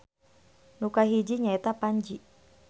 Nu kahiji nya eta Panji